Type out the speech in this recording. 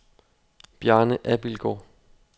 Bjarne Abildgaard